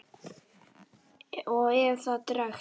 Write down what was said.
Og ef það dregst.